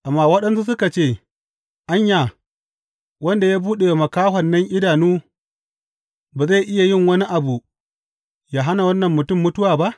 Amma waɗansunsu suka ce, Anya, wanda ya buɗe wa makahon nan idanu, ba zai iya yin wani abu yă hana wannan mutum mutuwa ba?